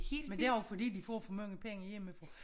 Men det er jo fordi de får for mange penge hjemmefra